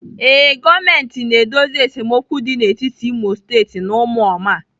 Ee, gọọmentị na-edozi esemokwu dị n'etiti Imo State na ụmụoma.